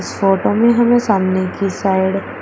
photo में हमें सामने की साइड --